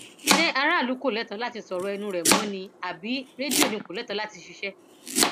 ṣé aráàlú kò lẹtọọ láti sọ ọrọ ẹnu rẹ mọ ni àbí rédíò ni kò lẹtọọ láti ṣiṣẹ